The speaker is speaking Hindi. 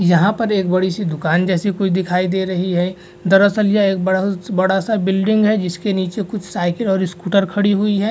यहाँ पर एक बड़ी सी दुकान जैसी कुछ दिखाई दे रही है | दरअसल यह एक बड़ा सा बिल्डिंग है जिसके नीचे कुछ साइकिल और स्कूटर खड़ी हुई है ।